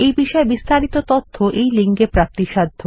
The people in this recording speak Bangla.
এই বিষয়ে বিস্তারিত তথ্য এই লিঙ্ক এ প্রাপ্তিসাধ্য